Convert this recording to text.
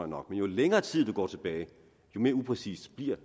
nok men jo længere tid du går tilbage jo mere upræcist bliver